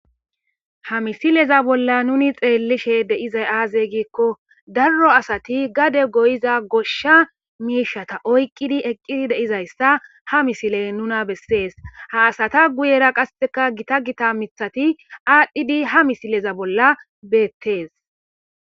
ha misileza bolla nuni xeellishe deizay aazey gikko darro asati gade goyiza goshsha miishata oyqqidi eqqidi deizayssa ha misiley nuna bessees ha asata guyera qasseka gita gita mithati aadhdhidi ha misileza bolla beettees